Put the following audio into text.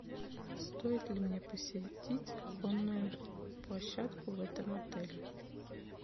стоит ли мне посетить конную площадку в этом отеле